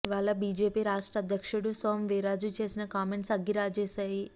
ఇవాళ బీజేపీ రాష్ట్ర అధ్యక్షుడు సోము వీర్రాజు చేసిన కామెంట్స్ అగ్గిరాజేశాయి